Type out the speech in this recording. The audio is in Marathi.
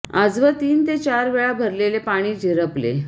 आजवर तीन ते चार वेळा भरलेले पाणी झिरपले